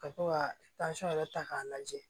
Ka to ka yɛrɛ ta k'a lajɛ